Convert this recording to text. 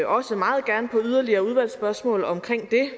også meget gerne på yderligere udvalgsspørgsmål om det